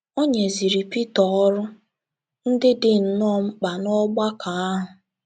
* O nyeziri Pita ọrụ ndị dị nnọọ mkpa n’ọgbakọ ahụ.